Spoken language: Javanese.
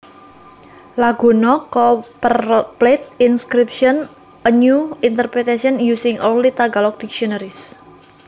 Laguna copperplate inscription a new interpretation using early tagalog dictionaries